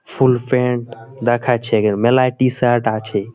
Full pant দেখাছে গে মেলায় টি-শার্ট আছে।